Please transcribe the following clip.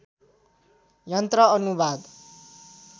यन्त्र अनुवाद